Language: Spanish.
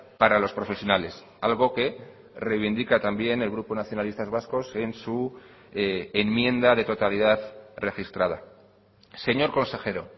para los profesionales algo que reivindica también el grupo nacionalistas vascos en su enmienda de totalidad registrada señor consejero